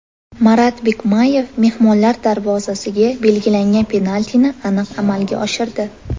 Marat Bikmayev mehmonlar darvozasiga belgilangan penaltini aniq amalga oshirdi.